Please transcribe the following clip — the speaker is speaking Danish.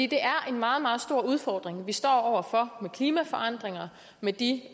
det er en meget meget stor udfordring vi står over for med klimaforandringer med de